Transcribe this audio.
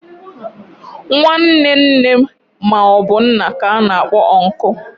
Nwanne nne ma obu nna ka ana akpo unku